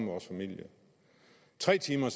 vores familie tre timer